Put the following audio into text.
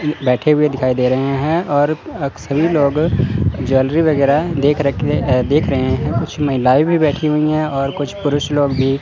बैठे हुए दिखाई दे रहे हैं और आप सभी लोग ज्वेलरी वगैरा देख रखे अह देख रहे हैं कुछ महिलाएं भी बैठी हुई है और कुछ पुरुष लोग भी--